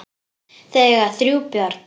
Þau eiga þrjú börn.